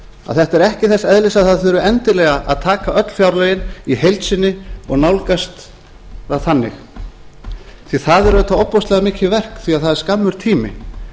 að þetta er ekki þess eðlis að það þurfi endilega að taka öll fjárlögin í heild sinni og nálgast það þannig því það er auðvitað ofboðslega mikið verk því það er skammur tími